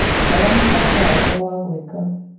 Rora mũbango wakwa wa gwĩka .